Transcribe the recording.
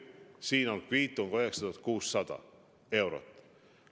Siin on kviitung, 9600 eurot.